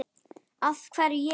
Af hverju ég?